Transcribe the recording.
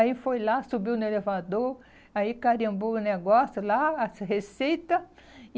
Aí foi lá, subiu no elevador, aí carimbou o negócio lá, as receita.